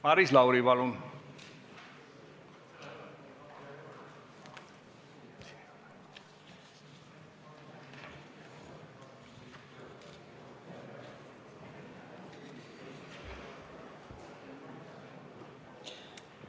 Maris Lauri, palun!